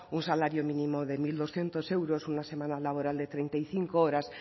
un salario mínimo de mil doscientos euros una semana laboral de treinta y cinco horas